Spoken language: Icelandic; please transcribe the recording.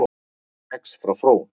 Kex frá Frón